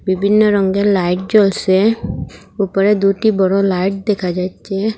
বিভিন্ন রঙ্গের লাইট জ্বলসে উপরে দুটি বড় লাইট দেখা যাচ্ছে।